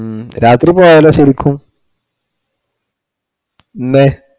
ഉം രാത്രി പോയാലോ ശരിക്കും ഇന്നേ